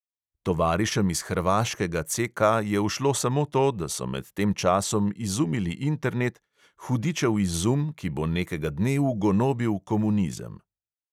Tovarišem iz hrvaškega CK je ušlo samo to, da so med tem časom izumili internet, hudičev izum, ki bo nekega dne ugonobil komunizem.